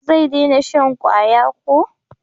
Zai dena shan kwaya ko?